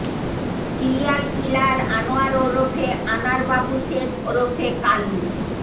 serial killer Anwar ওরফে আনার বাবু শেখ ওরফে কালু